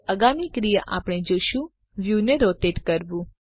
આગામી ક્રિયા આપણે જોશું વ્યુ ને રોટેટ કરવું